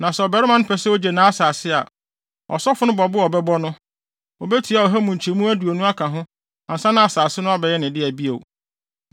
Na sɛ ɔbarima no pɛ sɛ ogye nʼasase a, ɔsɔfo no bo a ɔbɛbɔ no, obetua ɔha mu nkyɛmu aduonu aka ho ansa na asase no abɛyɛ ne dea bio.